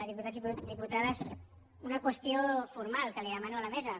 diputats i diputades una qüestió formal que demano a la mesa